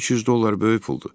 300 dollar böyük puldur.